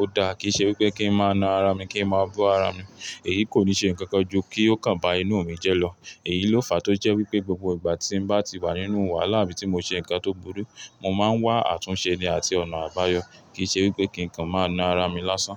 o dá kí i ṣe wípé kí ń má na ara mi, kí ń má bọ́ ara mi. Èyíi kò ní ṣe ǹkan kan ju kí ó kàn bá inú mi jẹ́ lọ. Èyí ló fàá tó jẹ́ wípé gbogbo ìgbà tí mo bá ti wà nínú wàhálà bí mo ṣe ǹkan tó burú, mo má ń wá àtúnṣe ni àti ọ̀nà àbáyọ. Kì í ṣe wípé kí ǹkan má na ara mi lásán.